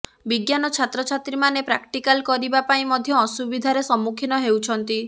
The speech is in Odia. ବିଜ୍ଞାନ ଛାତ୍ରଛାତ୍ରୀମାନେ ପ୍ରାକ୍ଟିକାଲ କରିବା ପାଇଁ ମଧ୍ୟ ଅସୁବିଧାରେ ସମ୍ମୁଖୀନ ହେଉଛନ୍ତି